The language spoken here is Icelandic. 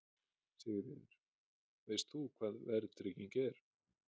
Sigríður: Veist þú hvað verðtrygging er?